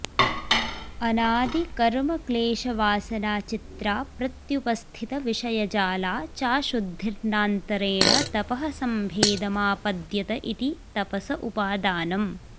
अनादिकर्मक्लेशवासनाचित्रा प्रत्युपस्थितविषयजाला चाशुद्धिर्नान्तरेण तपः सम्भेदमापद्यत इति तपस उपादानम्